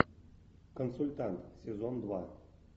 консультант сезон два